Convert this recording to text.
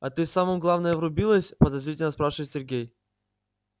а ты в самое главное врубилась подозрительно спрашивает сергей